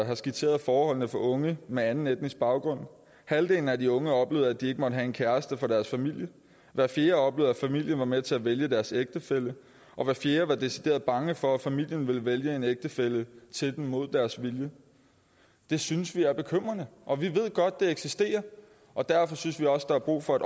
har skitseret forholdene for unge med anden etnisk baggrund halvdelen af de unge oplevede at de ikke måtte have en kæreste for deres familie hver fjerde oplevede at familien var med til at vælge deres ægtefælle og hver fjerde var decideret bange for at familien ville vælge en ægtefælle til dem mod deres vilje det synes vi er bekymrende og vi ved godt at det eksisterer og derfor synes vi også der er brug for